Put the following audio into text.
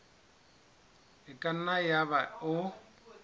e ka nna yaba o